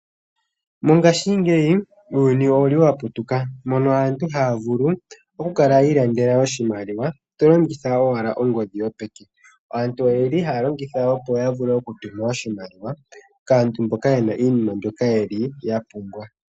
Mongaashingeyi uuyuni owuli wa putuka, mono aantu haya vulu oku kala yi ilandela oshimaliwa to longitha owala ongodhi yopeke. Aantu oyeli haya longitha, opo ya vule oku tuma oshimaliwa kaantu mboka yena iinima mbyoka yili ya pumbwa.